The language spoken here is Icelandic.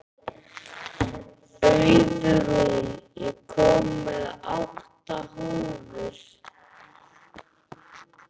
Auðrún, ég kom með átta húfur!